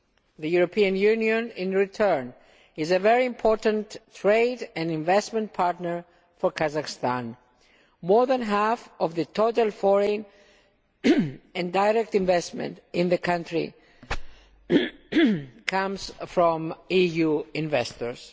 The European Union, in return, is a very important trade and investment partner for Kazakhstan more than half of the total foreign and direct investment in the country comes from EU investors.